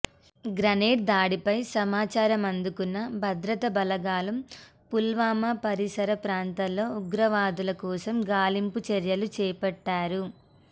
grenade దాడిపై సమాచారం అందుకున్న భద్రతా బలగాలు పుల్వామా పరిసర ప్రాంతాల్లో ఉగ్రవాదుల కోసం గాలింపు చర్యలు చేపట్టారు